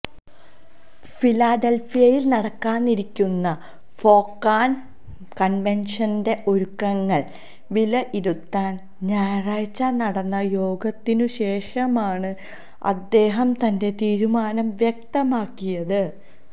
ഫിലാഡൽഫിയയിൽ നടക്കാനിരിക്കുന്ന ഫൊക്കാന കൺവെൻഷന്റെ ഒരുക്കങ്ങൾ വിലയിരുത്താൻ ഞായറാഴ്ച നടന്ന യോഗത്തിനു ശേഷമാണ് അദ്ദേഹം തന്റെ തീരുമാനം വ്യക്തമാക്കിയത്